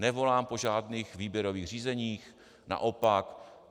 Nevolám po žádných výběrových řízeních, naopak.